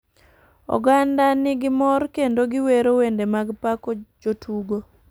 Oganda ni gi mor kendo gi wero wende mag pako jtugo